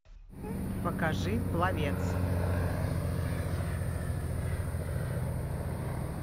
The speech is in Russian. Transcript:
покажи пловец